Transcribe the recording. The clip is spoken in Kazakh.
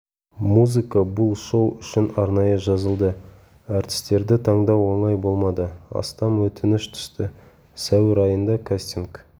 музыка бұл шоу үшін арнайы жазылды әртістерді таңдау оңай болмады астам өтініш түсті сәуір айында кастинг